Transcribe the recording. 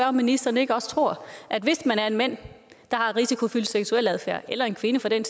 om ministeren ikke også tror at hvis man er mand der har risikofyldt seksualadfærd eller en kvinde for den